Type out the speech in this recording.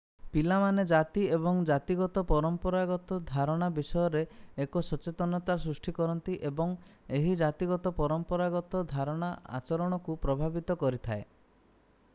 ପିଲାମାନେ ଜାତି ଏବଂ ଜାତିଗତ ପରମ୍ପରାଗତ ଧାରଣା ବିଷୟରେ ଏକ ସଚେତନତା ସୃଷ୍ଟି କରନ୍ତି ଏବଂ ଏହି ଜାତିଗତ ପରମ୍ପରାଗତ ଧାରଣା ଆଚରଣକୁ ପ୍ରଭାବିତ କରିଥାଏ